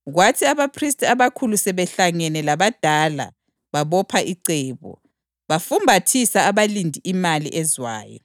Kwathi abaphristi abakhulu sebehlangene labadala babopha icebo, bafumbathisa abalindi imali ezwayo,